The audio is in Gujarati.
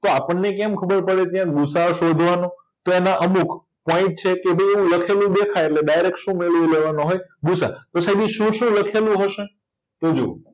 તો આપણેને કેમ ખબર પડે કે ગુસાઅ શોધવાનો તો આમાં અમુક પોઇટ છે કે એ લખેલું દેખાય એટલે ડાયરેક્ટ શું મેળવી લેવાનો હોય ગુસાઅ તો સાઈબ શું શું લખેલું હશે તો જો